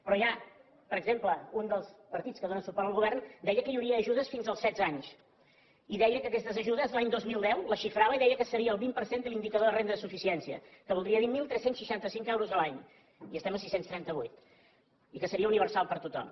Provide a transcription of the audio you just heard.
però per exemple un dels partits que dóna suport al govern deia que hi hauria ajudes fins als setze anys i deia que aquestes ajudes l’any dos mil deu les xifrava i deia que seria el vint per cent de l’indicador de la renda de suficiència que voldria dir tretze seixanta cinc euros a l’any i estem a sis cents i trenta vuit i que seria universal per a tothom